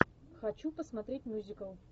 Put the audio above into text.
хочу посмотреть мюзикл